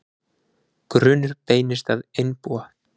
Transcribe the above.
Grunur beinist að einbúa